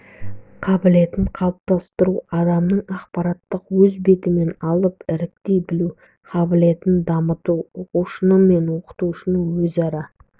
қабілетін қалыптастыру адамның ақпаратты өз бетімен алып іріктей білу қабілетін дамыту оқытушы мен оқушының өзара